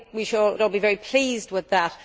I think we should all be very pleased with that.